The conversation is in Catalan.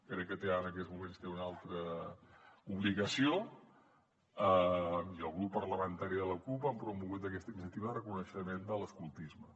crec que té ara en aquests moments una altra obligació i el grup parlamentari de la cup han promogut aquesta iniciativa de reconeixement de l’escoltisme